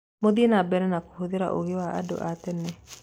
Muthiĩ nambere kũhũthĩra ũgĩ wa andũ a-tene.